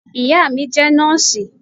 iyá mí jé nọọsi